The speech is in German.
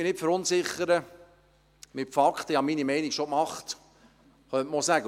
«Verunsichern Sie mich nicht mit Fakten, ich habe meine Meinung bereits gemacht!», könnte man sagen.